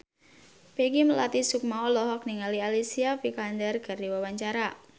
Peggy Melati Sukma olohok ningali Alicia Vikander keur diwawancara